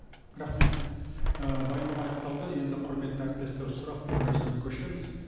рахмет ы баяндама аяқталды енді құрметті әріптестер сұрақ беру рәсіміне көшеміз